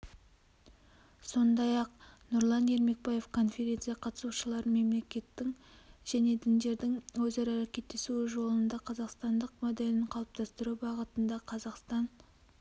сондай-ақ нұрлан ермекбаев конференция қатысушыларын мемлекеттің және діндердің өзара әрекеттесуі жолында қазақстандық моделін қалыптастыру бағытында қазақстан